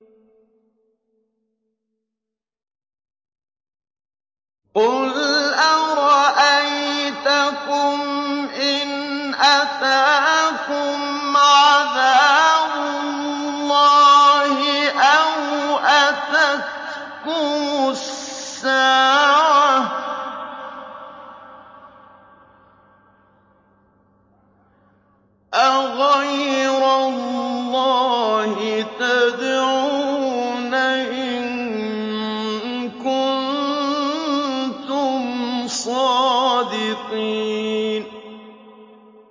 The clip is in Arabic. قُلْ أَرَأَيْتَكُمْ إِنْ أَتَاكُمْ عَذَابُ اللَّهِ أَوْ أَتَتْكُمُ السَّاعَةُ أَغَيْرَ اللَّهِ تَدْعُونَ إِن كُنتُمْ صَادِقِينَ